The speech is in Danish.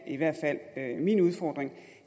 i hvert fald er min udfordring